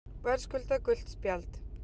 Verðskuldað gult spjald.